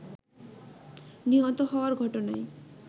নিহত হওয়ার ঘটনায়